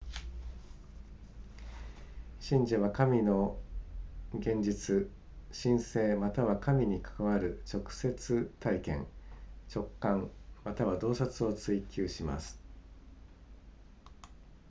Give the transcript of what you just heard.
信者は神の現実神性または神に関わる直接体験直観または洞察を追求します